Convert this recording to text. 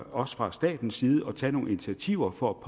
også fra statens side at tage nogle initiativer for at